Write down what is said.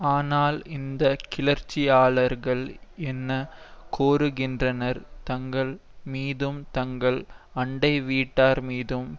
ஆனால் இந்த கிளர்ச்சியாளர்கள் என்ன கோருகின்றனர் தங்கள் மீதும் தங்கள் அண்டை வீட்டார் மீதும்